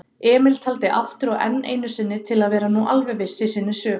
Emil taldi aftur og enn einusinni til að vera nú alveg viss í sinni sök.